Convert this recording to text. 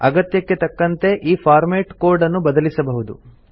ಅಗತ್ಯಕ್ಕೆ ತಕ್ಕಂತೆ ಈ ಫಾರ್ಮೆಟ್ ಕೋಡ್ ಅನ್ನು ಬದಲಿಸಬಹುದು